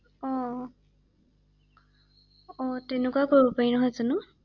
অ অ তেনেকুৱা কৰিব পাৰি নহয় জানো ৷